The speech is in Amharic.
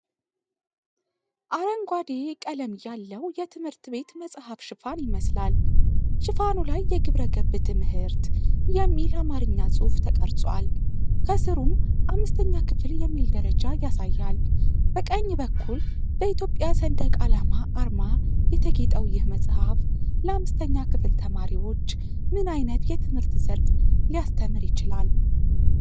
አረንጓዴ ቀለም ያለው የትምህርትቤት መጽሐፍ ሽፋን ይመስላል። ሽፋኑ ላይ "የግብረገብ ትምህርት" የሚል አማርኛ ጽሑፍ ተቀርጿል፤ ከሥሩም"5ኛ ክፍል" የሚል ደረጃ ያሳያል። በቀኝ በኩል በኢትዮጵያ ሰንደቅ ዓላማ አርማ የተጌጠው ይህ መጽሐፍ ለአምስተኛ ክፍል ተማሪዎች ምን ዓይነት የትምህርት ዘርፍ ሊያስተምር ይችላል?